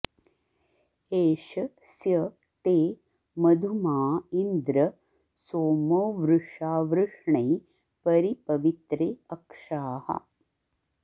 ए॒ष स्य ते॒ मधु॑माँ इन्द्र॒ सोमो॒ वृषा॒ वृष्णे॒ परि॑ प॒वित्रे॑ अक्षाः